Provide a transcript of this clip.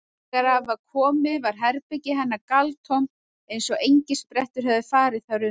Þegar að var komið var herbergi hennar galtómt eins og engisprettur hefðu farið þar um.